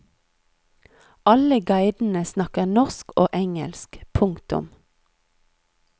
Alle guidene snakker norsk og engelsk. punktum